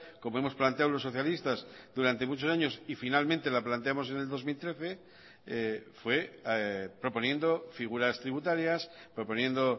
como hemos planteado los socialistas durante muchos años y finalmente la planteamos en el dos mil trece fue proponiendo figuras tributarias proponiendo